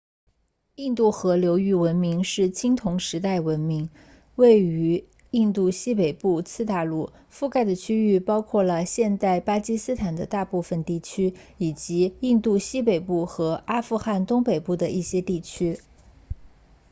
印度河流域文明是青铜时代的文明位于印度西北部次大陆覆盖的区域包括了现代巴基斯坦的大部分地区以及印度西北部和阿富汗东北部的一些地区